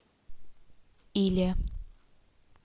иле